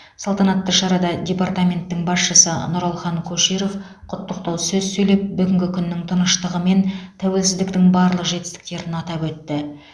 салтанатты шарада департаменттің басшысы нұралхан көшеров құттықтау сөз сөйлеп бүгінгі күннің тыныштығы мен тәуелсіздіктің барлық жетістіктерін атап өтті